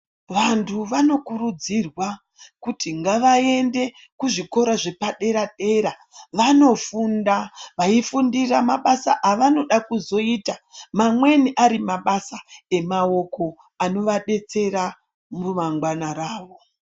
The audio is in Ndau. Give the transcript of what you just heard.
Vantu vanokurudzirwa ,kuti ngavaende kuzvikora zvepadera-dera, vanofunda vaifundira mabasa avanoda kuzoita, mamweni ari mabasa emaoko, anovadetsera mumangwana ravo.